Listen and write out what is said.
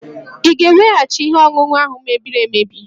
Ị ga-eweghachi ihe ọṅụṅụ ahụ mebiri emebi?